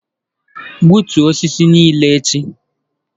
Gbutuo osisi nile echi.